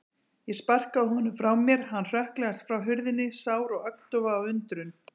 Ég sparkaði honum frá mér, hann hrökklaðist frá hurðinni, sár og agndofa af undrun.